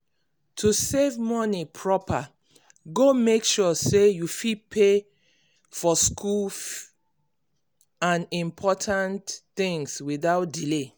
to save moni proper go make sure say you fit pay for school and important things without delay.